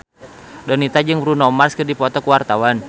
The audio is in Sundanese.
Donita jeung Bruno Mars keur dipoto ku wartawan